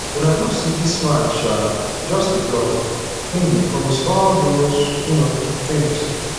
una no say dis man um just dey bluff wen he dey promise all those um things